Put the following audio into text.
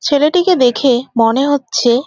ছেলেটিকে দেখে মনে হচ্ছে --